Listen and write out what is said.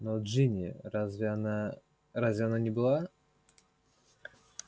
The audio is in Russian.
но джинни разве она разве она не была